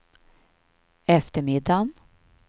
eftermiddagen